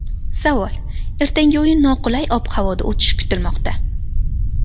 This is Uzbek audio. Savol: Ertangi o‘yin noqulay ob-havoda o‘tishi kutilmoqda.